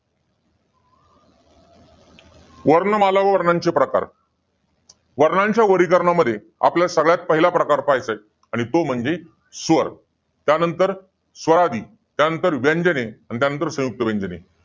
वर्णमाला व वर्णांचे प्रकार. वर्णांच्या वर्गीकरणामध्ये, आपला सगळ्यात पहिला प्रकार पाहायचाय. तो म्हंजी स्वर. त्यानंतर स्वरादी. त्यानंतर व्यंजने. आणि त्या नंतर संयुक्त व्यंजने.